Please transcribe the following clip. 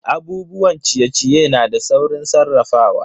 Abubuwan ciye-ciye na da saurin sarrafawa.